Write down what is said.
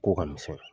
Ko ka misɛn